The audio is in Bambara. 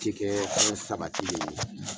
Ci kɛɛɛ fɛnw sabatilen ye,